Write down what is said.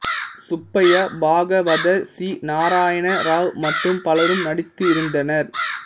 Subbaiah Bhagavathar C Narayana Rao மற்றும் பலரும் நடித்திருந்தனர்